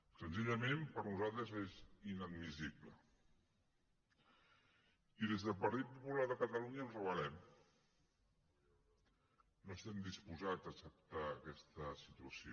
senzillament per nosaltres és inadmissible i des del partit popular de catalunya ens rebel·lem no estem disposats a acceptar aquesta situació